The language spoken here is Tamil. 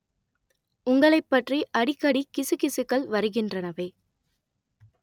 உங்களைப் பற்றி அடிக்கடி கிசுகிசுக்கள் வருகின்றனவே